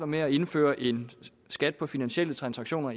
med at indføre en skat på finansielle transaktioner